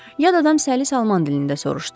Yad adam səlis alman dilində soruşdu.